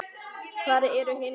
Hvar eru hinar?